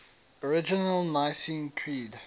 original nicene creed